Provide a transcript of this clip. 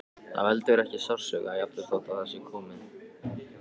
Það veldur ekki sársauka, jafnvel þótt við það sé komið.